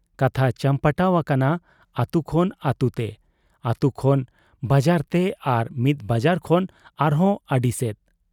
ᱠᱟᱛᱷᱟ ᱪᱟᱢᱯᱟᱴᱟᱣ ᱟᱠᱟᱱᱟ ᱟᱹᱛᱩ ᱠᱷᱚᱱ ᱟᱹᱛᱩᱛᱮ, ᱟᱹᱛᱩ ᱠᱷᱚᱱ ᱵᱟᱡᱟᱨᱛᱮ ᱟᱨ ᱢᱤᱫ ᱵᱟᱡᱟᱨ ᱠᱷᱚᱱ ᱟᱨᱦᱚᱸ ᱟᱹᱰᱤᱥᱮᱫ ᱾